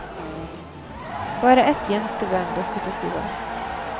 Bare ett jenteband dukket opp i går.